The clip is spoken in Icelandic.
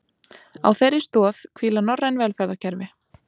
Á þeirri stoð hvíla norræn velferðarkerfi